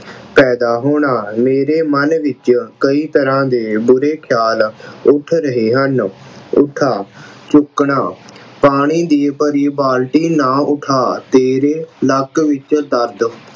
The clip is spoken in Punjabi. ਪੈਦਾ ਹੋਣਾ ਮੇਰੇ ਮਨ ਵਿੱਚ ਕਈ ਤਰ੍ਹਾਂ ਦੇ ਬੁਰੇ ਖਿਆਲ ਉੱਠ ਰਹੇ ਹਨ। ਉਠਾ, ਚੁੱਕਣਾ ਪਾਣੀ ਦੀ ਭਰੀ ਬਾਲਟੀ ਨਾ ਉਠਾ ਤੇਰੇ ਲੱਕ ਵਿੱਚ ਦਰਦ